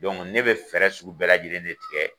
ne bɛ fɛɛrɛ sugu bɛɛ lajɛlen de tigɛ.